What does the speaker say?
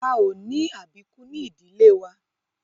A ò ní àbíkú ní ìdílé wa